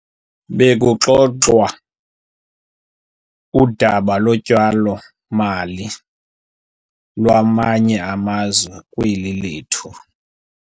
Bekuxoxwa udaba lotyalo-mali lwamanye amazwe kweli lethu.